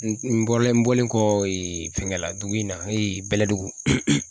N bɔlen n bɔlen kɔ ee fɛgɛla dugu in na bɛlɛdugu